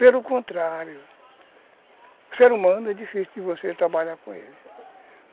Pelo contrário, o ser humano é difícil de você trabalhar com ele.